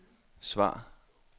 svar